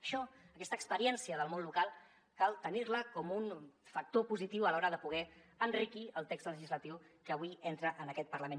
això aquesta experiència del món local cal tenir la com un factor positiu a l’hora de poder enriquir el text legislatiu que avui entra en aquest parlament